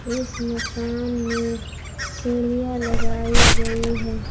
इस मकान में सीढ़ियां लगाई गई है।